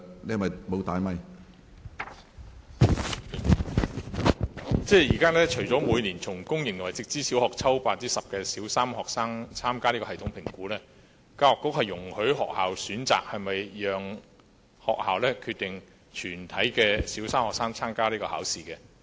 現時除了每年從公營和直資小校抽選 10% 的小三學生參加系統評估外，教育局亦容許學校選擇是否讓全體小三學生參加有關評估。